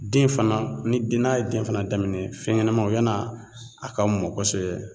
Den fana ni den n'a ye den fana daminɛ fɛnɲɛnamaw yann'a ka mɔ kosɛbɛ